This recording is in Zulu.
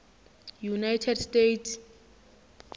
united states